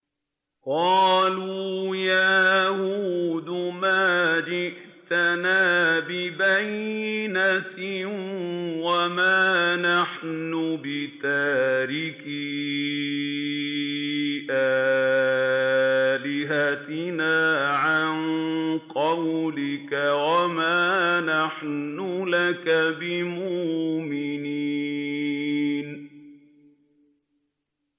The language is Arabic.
قَالُوا يَا هُودُ مَا جِئْتَنَا بِبَيِّنَةٍ وَمَا نَحْنُ بِتَارِكِي آلِهَتِنَا عَن قَوْلِكَ وَمَا نَحْنُ لَكَ بِمُؤْمِنِينَ